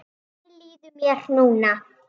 Þannig líður mér núna.